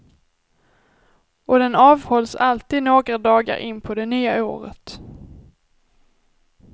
Och den avhålls alltid några dagar in på det nya året.